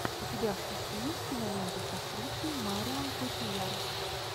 у тебя в списке есть кинолента с актрисой марион котийяр